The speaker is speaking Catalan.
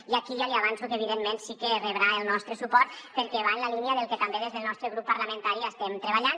i aquí ja li avanço que evidentment sí que rebrà el nostre suport perquè va en la línia del que també des del nostre grup parlamentari estem treballant